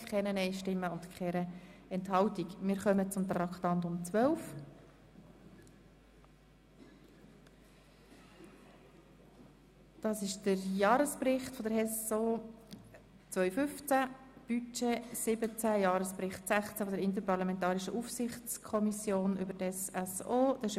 Es folgt Traktandum 12, Jahresbericht 2015 der HES-SO, Jahresrechnung 2015, Budget 2017 und Jahresbericht der interparlamentarischen Aufsichtskommission über die HES-SO.